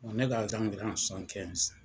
O ne ka dila